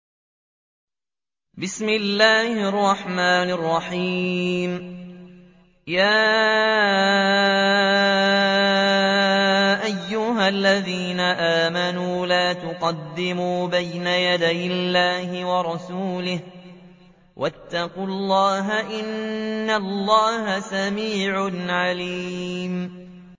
يَا أَيُّهَا الَّذِينَ آمَنُوا لَا تُقَدِّمُوا بَيْنَ يَدَيِ اللَّهِ وَرَسُولِهِ ۖ وَاتَّقُوا اللَّهَ ۚ إِنَّ اللَّهَ سَمِيعٌ عَلِيمٌ